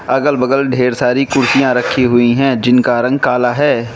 अगल बगल ढेर सारी कुर्सियां रखी हुई हैं जिनका रंग काला है।